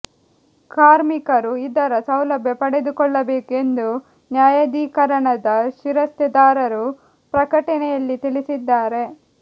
ಕಾರ್ಮಿಕರು ಇದರ ಸೌಲಭ್ಯ ಪಡೆದುಕೊಳ್ಳಬೇಕು ಎಂದು ನ್ಯಾಯಾಧೀಕರಣದ ಶಿರಸ್ತೆದಾರರು ಪ್ರಕಟಣೆಯಲ್ಲಿ ತಿಳಿಸಿದ್ದಾರೆ